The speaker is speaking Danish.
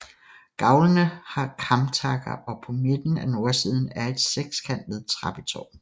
Gavlene har kamtakker og på midten af nordsiden er et sekskantet trappetårn